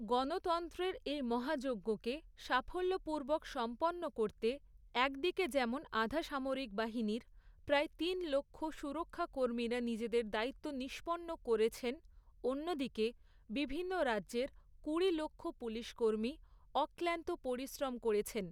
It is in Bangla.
গণতন্ত্রের এই মহাযজ্ঞকে, সাফল্যপূর্বক সম্পন্ন করতে, একদিকে যেমন আধা সামরিক বাহিনীর, প্রায় তিন লক্ষ সুরক্ষাকর্মীরা নিজেদের দায়িত্ব নিষ্পন্ন করেছেন, অন্যদিকে, বিভিন্ন রাজ্যের কুড়ি লক্ষ পুলিশকর্মী অক্লান্ত পরিশ্রম করেছেন।